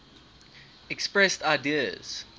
expressed ideas